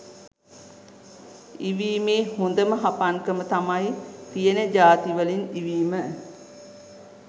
ඉවීමේ හොඳම හපන්කම තමයි තියෙන ජාතිවලින් ඉවීම